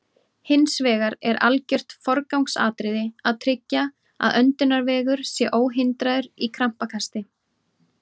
Hins vegar er algjört forgangsatriði að tryggja að öndunarvegur sé óhindraður í krampakasti.